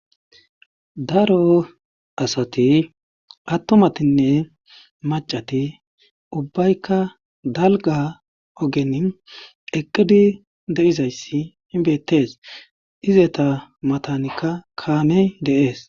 Daro asati attomatinne macati ubbaykka dalga ogeni eqqidi deizayssi inbettees izeta matanikka kaamey dees.